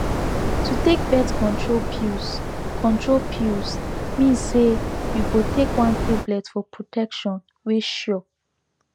to take birth control pills control pills mean say you go take one tablet for protection wey sure